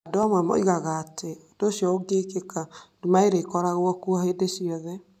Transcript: Andũ amwe moigaga atĩ, ũndũ ũcio ũngĩkĩka, nduma ĩrĩ koragwo kuo hĩndĩ ciothe.